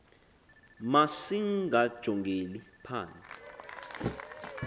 mas ingajongeli phantsi